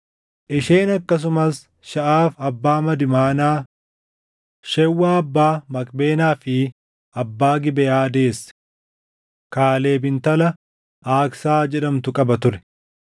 Isheen akkasumas Shaʼaaf abbaa Madmaanaa, Shewwaa abbaa Makbeenaa fi abbaa Gibeʼaa deesse. Kaaleb intala Aaksaa jedhamtu qaba ture.